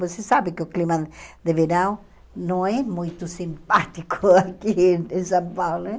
Você sabe que o clima de verão não é muito simpático aqui em em São Paulo, né?